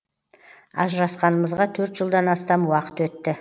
ажырасқанымызға төрт жылдан астам уақыт өтті